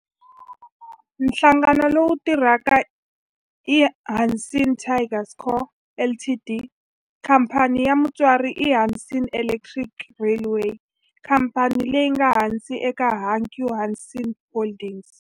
Nhlangano lowu tirhaka i Hanshin Tigers Co., Ltd. Khamphani ya mutswari i Hanshin Electric Railway, khamphani leyi nga ehansi ka Hankyu Hanshin Holdings.